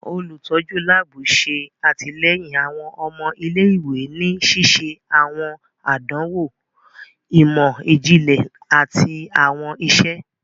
Olutọju laabu ṣe atilẹyin awọn ọmọ ilé-ìwé ni ṣiṣe awọn àdánwò imọ-jinlẹ àti awọn iṣe.